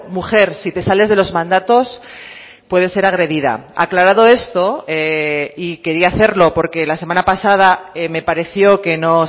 mujer si te sales de los mandatos puedes ser agredida aclarado esto y quería hacerlo porque la semana pasada me pareció que no